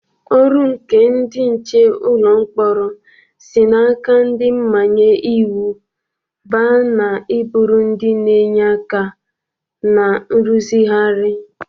Ọrụ nke ndị nche ụlọ mkpọrọ si n'aka ndị mmanye iwu baa na i bụrụ ndị na-enye aka na nrụzigharị.